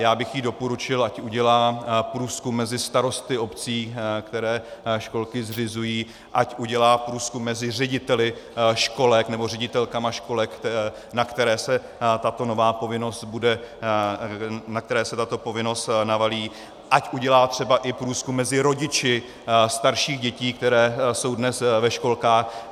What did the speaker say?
Já bych jí doporučil, ať udělá průzkum mezi starosty obcí, které školky zřizují, ať udělá průzkum mezi řediteli školek nebo ředitelkami školek, na které se tato povinnost navalí, ať udělá třeba i průzkum mezi rodiči starších dětí, které jsou dnes ve školkách.